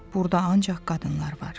Burda ancaq qadınlar var.